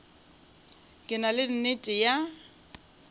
ke na le nnete ya